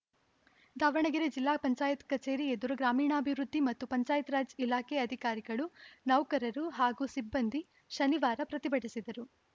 ದಾವಣಗೆರೆ ಜಿಲ್ಲಾ ಪಂಚಾಯತ್ ಕಚೇರಿ ಎದುರು ಗ್ರಾಮೀಣಾಭಿವೃದ್ಧಿ ಮತ್ತು ಪಂಚಾಯತ್‌ರಾಜ್‌ ಇಲಾಖೆ ಅಧಿಕಾರಿಗಳು ನೌಕರರು ಹಾಗೂ ಸಿಬ್ಬಂದಿ ಶನಿವಾರ ಪ್ರತಿಭಟಿಸಿದರು